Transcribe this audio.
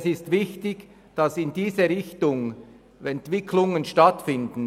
Es ist wichtig, dass Entwicklungen in diese Richtung stattfinden.